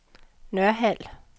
Nørhald